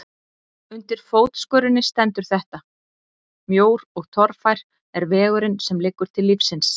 Undir fótskörinni stendur þetta: Mjór og torfær er vegurinn sem liggur til lífsins.